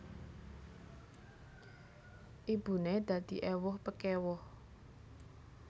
Ibuné dadi éwuh pekéwuh